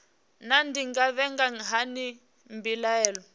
naa ndi nga vhiga hani mbilaelo